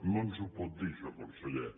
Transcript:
no ens ho pot dir això conseller